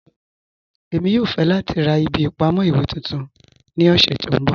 Ẹ̀mi yòò fẹ̀ lati rá ìbí ìpamọ̀ iwe tuntun ní ọ̀ṣẹ̀ tí n bọ́.